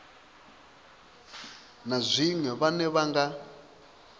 na zwiṅwe vhane vha nga